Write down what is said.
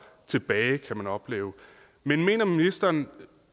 tilbage kan man opleve men mener ministeren